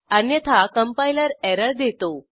अन्यथा compiler error देतो